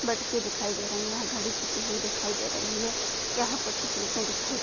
मटकें दिखाई दे रहे है यहा घड़ी छपी हुई दिखाई दे रही है यहा कुछ शिल्पे दिखाई --